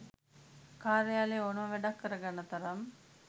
කාර්යාලයේ ඕනම වැඩක් කරගන්න තරම්